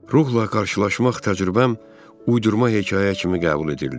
Ruhla qarşılaşmaq təcrübəm uydurma hekayə kimi qəbul edildi.